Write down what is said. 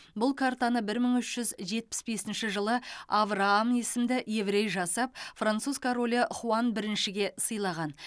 бұл картаны бір мың үш жүз жетпіс бесінші авраам есімді еврей жасап француз королі хуан біріншіге сыйлаған